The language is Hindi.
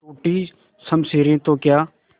टूटी शमशीरें तो क्या